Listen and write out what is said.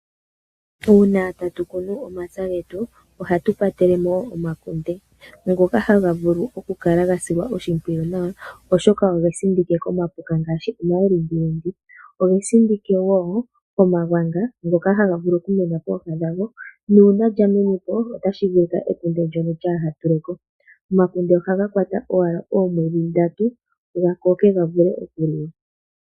Uuna tatu kunu omapya getu ohatu kwatele mo wo omakunde ngoka haga vulu oku kala ga silwa oshimpwiyu nawa, oshoka oge sindike komapuka ngaashi omalindilindi, oge sindike wo komagwanga, ngoka haga vulu oku mena pooha gago, nuuna lya mene po otashi vulika ekunde ndono lyaaha tule ko. Omakunde ohaga kwata owala oomwedhi ndatu ga koke ga vule oku liwa.